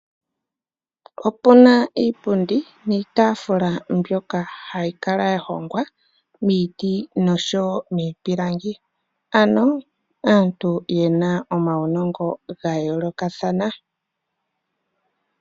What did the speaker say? Opuna iipundi niitaafula mbyoka hayi kala ya hongwa miiti noshowo miipilangi, ano aantu yena omawunongo gayoolokathana.